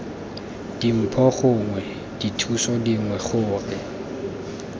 dimpho gongwe dithuso dingwe gore